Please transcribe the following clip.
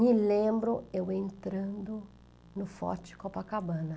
Me lembro eu entrando no forte Copacabana.